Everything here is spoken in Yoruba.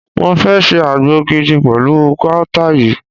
Mo fẹ́ ṣe àgbo gidi pẹ̀lú guata yìí.